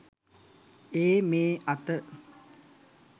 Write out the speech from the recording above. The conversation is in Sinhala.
ඒ මේ අත